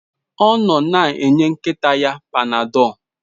Ọ nọ na-enye nkịta ya Panadol.